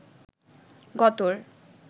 গতর